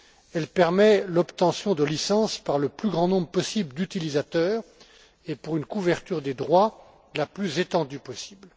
Elle permet l'obtention de licences par le plus grand nombre possible d'utilisateurs et pour une couverture des droits la plus étendue possible.